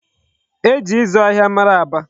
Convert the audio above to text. E ji ịzụ ahịa mara Aba.